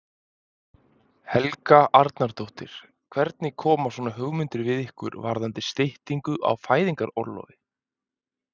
Helga Arnardóttir: Hvernig koma svona hugmyndir við ykkur varðandi styttingu á fæðingarorlofi?